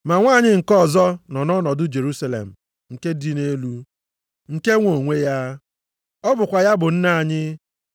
Ma nwanyị nke ọzọ nọ ọnọdụ Jerusalem nke dị nʼelu, nke nwe onwe ya. Ọ bụkwa ya bụ nne anyị.